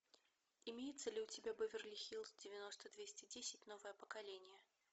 имеется ли у тебя беверли хиллз девяносто двести десять новое поколение